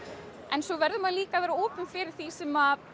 fyrirfram svo verður maður líka að vera opinn fyrir því sem